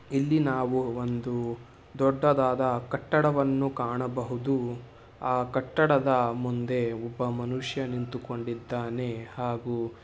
ಇಲ್ಲಿ ನಾವು ಒಂದು ದೊಡ್ಡದಾದ ಕಟ್ಟಡವನ್ನು ಕಾಣಬಹುದು. ಆ ಕಟ್ಟಡದ ಮುಂದೆ ಒಬ್ಬ ಮನುಷ್ಯ ನಿಂತಿಕೊಂಡಿದ್ದಾನೆ ಹಾಗೂ--